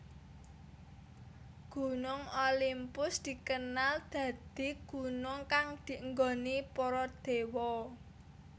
Gunung Olimpus dikenal dadi gunung kang dienggoni para déwa